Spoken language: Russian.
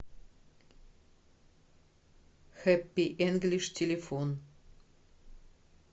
хэппи инглиш телефон